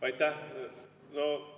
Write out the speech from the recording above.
Aitäh!